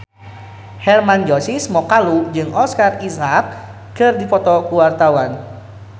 Hermann Josis Mokalu jeung Oscar Isaac keur dipoto ku wartawan